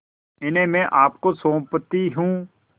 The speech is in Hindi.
इन्हें मैं आपको सौंपती हूँ